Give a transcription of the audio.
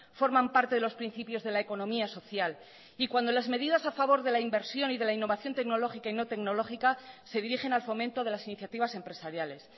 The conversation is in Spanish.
forman parte de los principios de la economía social y cuando las medidas a favor de la inversión y de la innovación tecnológica y no tecnológica se dirigen al fomento de las iniciativas empresariales